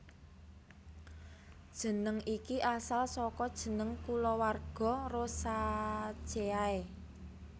Jeneng iki asal saka jeneng kulawarga Rosaceae